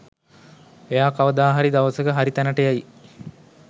එයා කවදා හරි දවසක හරි තැනට එයි.